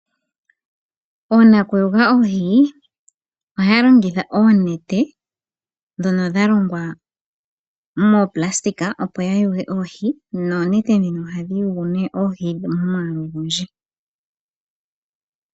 Oonakuyula oohi ohaya longitha oonete ndhono dha longwa moonayilona opo ya yule oohi. Noonete ndhino ohadhi yulu oohi momwaalu ogundji.